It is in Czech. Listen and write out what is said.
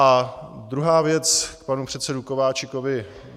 A druhá věc k panu předsedovi Kováčikovi.